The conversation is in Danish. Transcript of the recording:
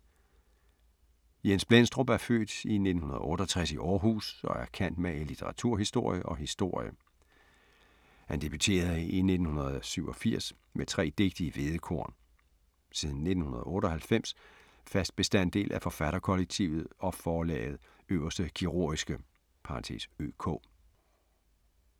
Jens Blendstrup er født i 1968 i Århus og er cand. mag. i litteraturhistorie og historie. Han debuterede i 1987 med tre digte i Hvedekorn. Siden 1998 fast bestanddel af forfatterkollektivet og forlaget Øverste Kirurgiske (ØK).